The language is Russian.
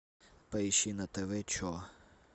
поищи на тв че